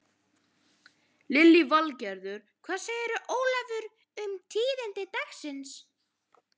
Lillý Valgerður: Hvað segirðu Ólafur um tíðindi dagsins?